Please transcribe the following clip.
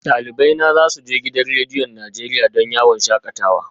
Dalibai na za su je gidan rediyon Najeriya gobe don yawon shakatawa